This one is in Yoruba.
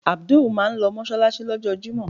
Abdul máà ń lọ mọ́ṣáláṣí. ní ọjọ́ jimo.